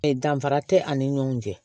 E danfara te ani ɲɔgɔn cɛ